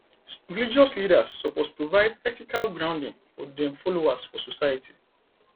religious leaders suppose provide ethical grounding for dem followers for society